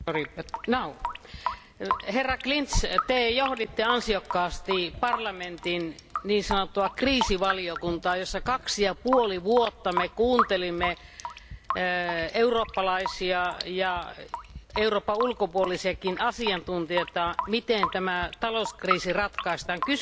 Arvoisa puhemies, herra Klinz, te johditte ansiokkaasti parlamentin niin sanottua kriisivaliokuntaa, jossa 2,5 vuotta me kuuntelimme eurooppalaisia ja Euroopan ulkopuolisiakin asiantuntijoita, miten tämä talouskriisi ratkaistaan.